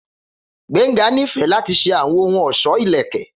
Gbenga nifẹ lati ṣe awọn ohun ọṣọ ilẹkẹ